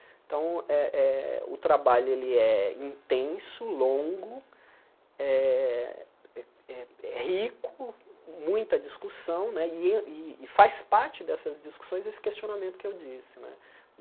Então, eh eh o trabalho ele é intenso, longo, eh eh rico, muita discussão né, e e faz parte dessas discussões esse questionamento que eu disse né.